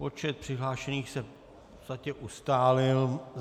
Počet přihlášených se v podstatě ustálil.